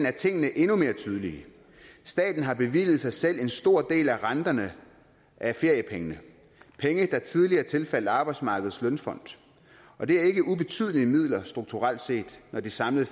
er tingene endnu mere tydelige staten har bevilget sig selv en stor del af renterne af feriepengene penge der tidligere tilfaldt arbejdsmarkedets feriefond og det er ikke ubetydelige midler strukturelt set når det samlede